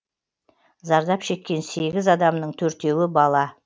зардап шеккен сегіз адамның төртеуі бала